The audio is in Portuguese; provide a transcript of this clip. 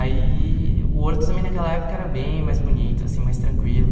Aí, o Horto também naquela época era bem mais bonito, assim, mais tranquilo.